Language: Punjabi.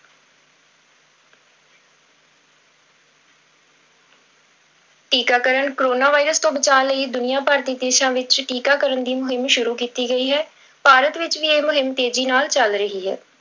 ਟੀਕਾਕਰਨ, ਕੋਰੋਨਾ virus ਤੋਂ ਬਚਾਅ ਲਈ ਦੁਨੀਆਂਭਰ ਦੇ ਦੇਸਾਂ ਵਿੱਚ ਟੀਕਾਕਰਨ ਦੀ ਮੁਹਿੰਮ ਸ਼ੁਰੂ ਕੀਤੀ ਗਈ ਹੈ, ਭਾਰਤ ਵਿੱਚ ਵੀ ਇਹ ਮੁਹਿੰਮ ਤੇਜ਼ੀ ਨਾਲ ਚੱਲ ਰਹੀ ਹੈ।